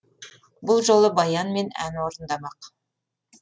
бұл жолы баянмен ән орындамақ